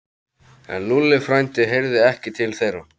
En Lúlli frændi heyrði ekki til þeirra.